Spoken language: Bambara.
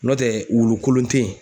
N'o tɛ wulu kolon te yen.